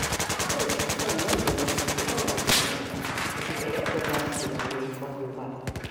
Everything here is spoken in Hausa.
Man shamfon nan da na siyo yana da kyau. Ba ki ga yadda gashina ya yi tsaho ba